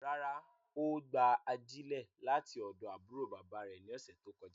Rárá, o gba ajilẹ lati ọdọ aburo baba rẹ ni ọsẹ to kọja